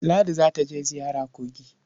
Ladi za je ziyara kogi.